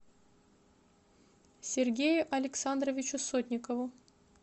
сергею александровичу сотникову